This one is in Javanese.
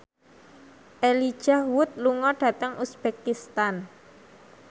Elijah Wood lunga dhateng uzbekistan